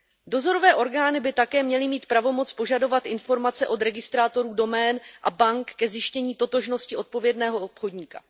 Dozorové orgány by také měly mít pravomoc požadovat informace od registrátorů domén a bank ke zjištění totožnosti odpovědného obchodníka.